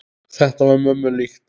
Þetta var mömmu líkt.